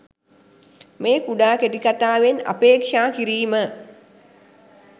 මේ කුඩා කෙටිකතාවෙන් අපේක්ෂා කිරීම